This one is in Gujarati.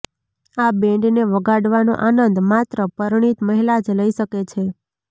આ બેન્ડને વગાડવાનો આનંદ માત્ર પરણિત મહિલા જ લઇ શકે છે